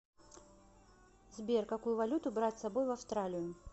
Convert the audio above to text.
сбер какую валюту брать с собой в австралию